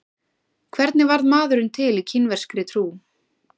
Hvernig varð maðurinn til í kínverskri trú?